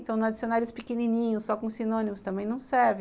Estão nos dicionários pequenininhos, só com sinônimos, também não serve.